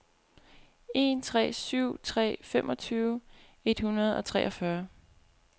en tre syv tre femogtyve et hundrede og treogfyrre